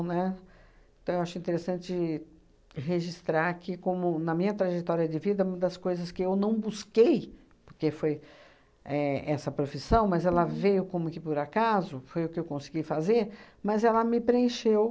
Né? Então, eu acho interessante registrar que como, na minha trajetória de vida, uma das coisas que eu não busquei, porque foi éh essa profissão, mas ela veio como que por acaso, foi o que eu consegui fazer, mas ela me preencheu.